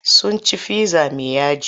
Sun ci fizza mai yaji.